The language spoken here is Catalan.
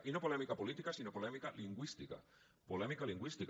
i no polèmica política sinó polèmica lingüística polèmica lingüística